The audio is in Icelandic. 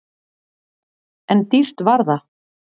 En dýrt var það!